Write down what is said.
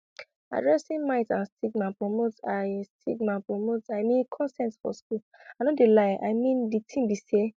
addressing myths and stigma promotes i stigma promotes i mean consent for schools i no de lie i mean de tin be say